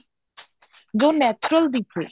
ਜੋ natural ਦਿਖੇ